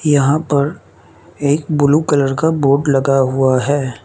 यहां पर एक ब्लू कलर का बोर्ड लगा हुआ है।